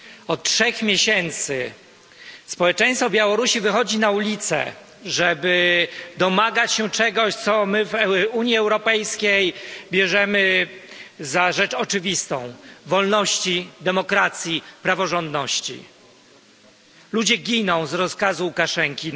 Od trzech miesięcy społeczeństwo Białorusi wychodzi na ulice, żeby domagać się czegoś, co my w Unii Europejskiej bierzemy za rzecz oczywistą wolności, demokracji i praworządności. Ludzie giną na Białorusi z rozkazu Łukaszenki,